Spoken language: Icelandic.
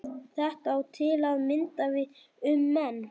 Þetta á til að mynda við um menn.